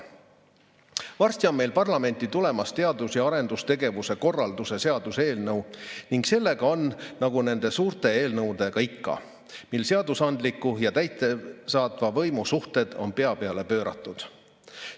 Varsti on meil parlamenti tulemas teadus- ja arendustegevuse korralduse seaduse eelnõu ning sellega on nagu nende suurte eelnõudega ikka seadusandliku ja täidesaatva võimu suhted pea peale pööratud.